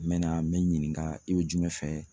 N mɛna n bɛ ɲininka i bɛ jumɛn fɛ?